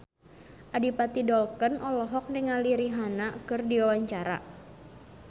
Adipati Dolken olohok ningali Rihanna keur diwawancara